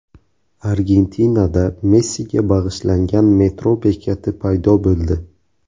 Argentinada Messiga bag‘ishlangan metro bekati paydo bo‘ldi .